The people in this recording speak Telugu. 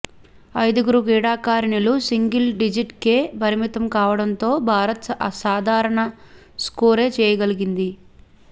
ఐదుగురు క్రీడాకారిణులు సింగిల్ డిజిట్కే పరిమితం కావడంతో భారత్ సాధారణ స్కోరే చేయగలిగింది